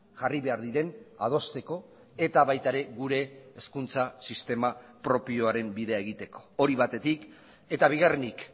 jarri behar diren adosteko eta baita ere gure hezkuntza sistema propioaren bidea egiteko hori batetik eta bigarrenik